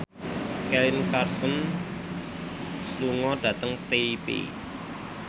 Kelly Clarkson lunga dhateng Taipei